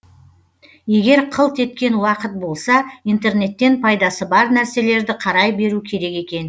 егер қылт еткен уақыт болса интернеттен пайдасы бар нәрселерді қарай беру керек екен